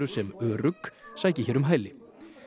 sem örugg sæki hér um hæli